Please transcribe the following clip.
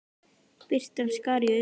Birtan skar í augun.